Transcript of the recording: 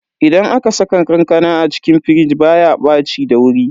Idan aka saka kankana a cikin firij baya ɓaci da wuri.